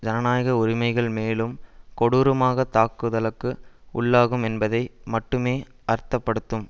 ஜனநாயக உரிமைகள் மேலும் கொடூரமாக தாக்குதலுக்கு உள்ளாகும் என்பதை மட்டுமே அர்த்தப்படுத்தும்